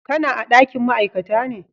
Ka na dakin ma'aikata ne?